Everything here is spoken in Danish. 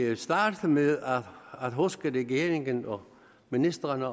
jeg starte med at huske regeringen og ministrene